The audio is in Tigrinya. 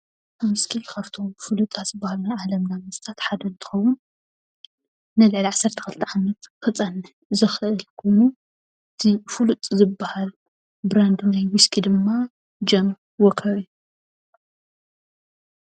ዊስኪ ካብቶም ፍሉጣት ዝበሃሉ ናይ ዓለም መስተታት ሓደ እንትከውን ንልዕሊ 12 ዓመት ክፀንሕ ዝክእል ኮይኑ እቲ ፍሉጥ ዝበሃል ብራንድ ናይ ዊስኪ ድማ ጆንዎከሪ እዩ።